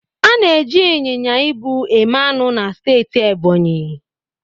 A na-eji ịnyịnya ibu eme anụ na steeti Ebonyi